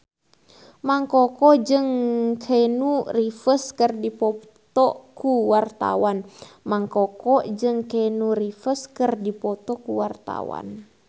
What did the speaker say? Mang Koko jeung Keanu Reeves keur dipoto ku wartawan